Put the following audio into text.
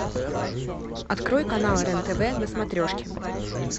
открой канал рен тв на смотрешке